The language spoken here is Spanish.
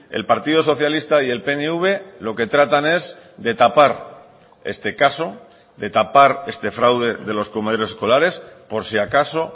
el partido socialista y el pnv lo que tratan es de tapar este caso de tapar este fraude de los comedores escolares por si acaso